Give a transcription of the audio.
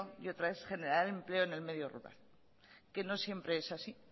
y otra es generar empleo en el medio rural que no siempre es así